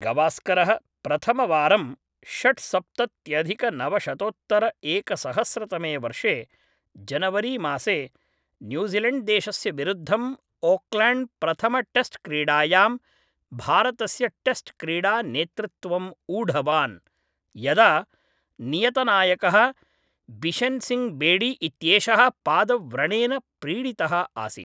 गवास्करः प्रथमवारं षट्सप्तत्यधिकनवशतोत्तरएकसहस्रतमे वर्षे जनवरीमासे न्यूज़िलेण्ड्देशस्य विरुद्धं ओक्लेण्ड्प्रथमटेस्ट्क्रीडायां भारतस्य टेस्ट्क्रीडा नेतृत्वं ऊढवान्, यदा नियतनायकः बिशेन् सिङ्घ् बेडी इत्येषः पादव्रणेन पीडितः आसीत्।